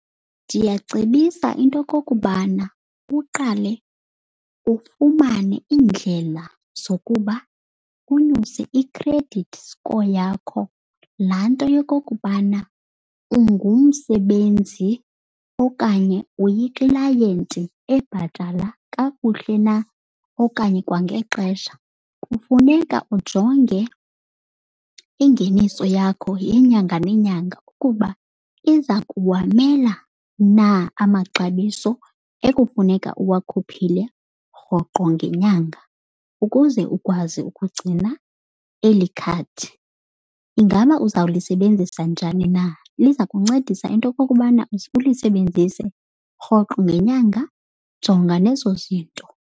Ndiyacebisa into okokubana uqale ufumane iindlela zokuba unyuse i-credit score yakho. Laa nto yokokubana ungumsebenzi okanye uyiklayenti ebhatala kakuhle na okanye kwangexesha. Kufuneka ujonge ingeniso yakho yenyanga nenyanga ukuba iza kuwamela na amaxabiso ekufuneka uwakhuphile rhoqo ngenyanga ukuze ukwazi ukugcina eli khadi. Ingaba uzawulisebenzisa njani na? Liza kuncedisa into okokubana uze ulisebenzise rhoqo ngenyanga? Jonga nezo zinto.